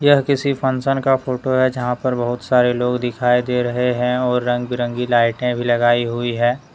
यह किसी फंक्शन का फोटो है जहां पर बहुत सारे लोग दिखाई दे रहे हैं और रंग बिरंगी लाइटे भी लगाई हुई है।